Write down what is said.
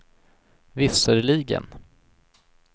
visserligen